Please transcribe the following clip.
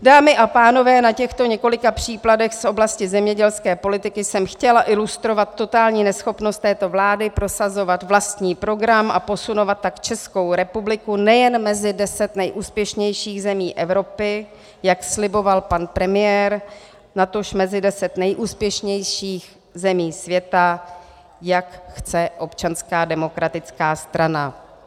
Dámy a pánové, na těchto několika příkladech z oblasti zemědělské politiky jsem chtěla ilustrovat totální neschopnost této vlády prosazovat vlastní program a posunovat tak Českou republiku nejen mezi deset nejúspěšnějších zemí Evropy, jak sliboval pan premiér, natož mezi deset nejúspěšnějších zemí světa, jak chce Občanská demokratická strana.